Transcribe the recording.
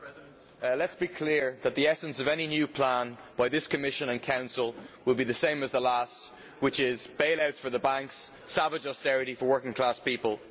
Madam President, let us be clear that the essence of any new plan by this Commission and Council will be the same as the last, which is bail outs for the banks and savage austerity for working class people.